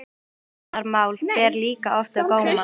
Menntunarmál ber líka oft á góma.